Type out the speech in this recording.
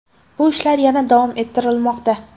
Bu ishlar yana davom ettirilmoqda.